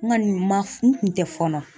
N kɔni ma n kun tɛ fɔɔnɔ.